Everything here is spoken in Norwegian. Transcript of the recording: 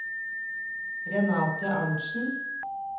Renate Arntsen